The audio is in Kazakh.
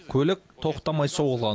көлік тоқтамай соғылған